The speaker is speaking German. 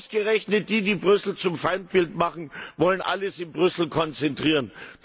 Ausgerechnet die, die Brüssel zum Feindbild machen, wollen alles in Brüssel konzentrieren.